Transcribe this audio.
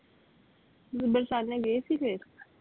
ਬਰਸਾਨੇ ਗਏ ਸੀ ਫਿਰ?